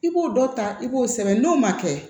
I b'o dɔ ta i b'o sɛbɛn n'o ma kɛ